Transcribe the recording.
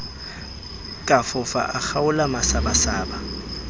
ka fofa a kgaola masabasaba